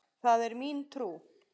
Það er mín trú.